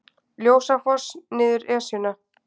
Ljósafoss niður Esjuna